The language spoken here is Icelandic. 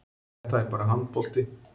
Þetta er bara handbolti